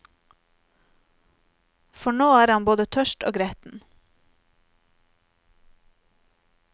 For nå er han både tørst og gretten.